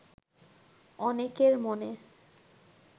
অনেকের মনে